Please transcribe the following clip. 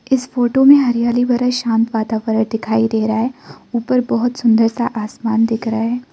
इस फोटो में हरियाली भरे शान्त वातावरण दिखाई दे रहा है ऊपर बहोत सुंदर सा आसमान दिख रहा है।